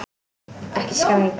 Ekki skræk.